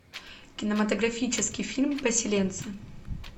кинематографический фильм поселенцы